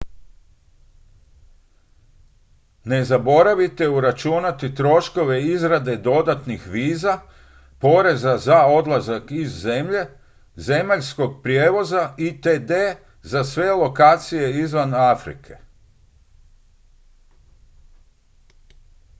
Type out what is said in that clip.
ne zaboravite uračunati troškove izrade dodatnih viza poreza za odlazak iz zemlje zemaljskog prijevoza itd za sve lokacije izvan afrike